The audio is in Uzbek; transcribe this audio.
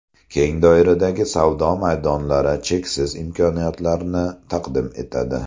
Keng doiradagi savdo maydonlari cheksiz imkoniyatlarni taqdim etadi.